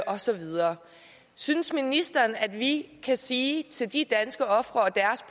og så videre synes ministeren at vi kan sige til de danske ofre